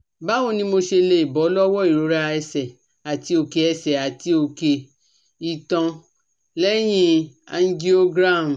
Báwo ni mo ṣe lè bọ́ lọ́wọ́ ìrora ẹsẹ̀ àti oke ẹsẹ̀ àti oke itan leyin angiogram?